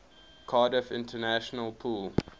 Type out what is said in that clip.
cardiff international pool